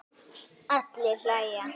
Allir hlæja.